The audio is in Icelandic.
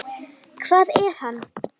Hvað er hann?